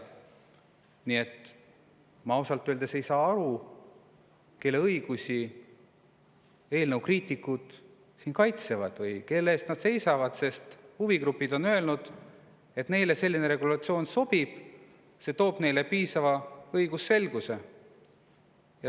Nii et ma ei saa ausalt öeldes aru, kelle õigusi eelnõu kriitikud siin kaitsevad või kelle eest nad seisavad, sest huvigrupid on öelnud, et neile selline regulatsioon sobib ja see toob neile piisava õigusselguse.